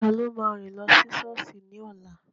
Taló máa rìn lọ sí sọ́ọ̀sì ní ọ̀la?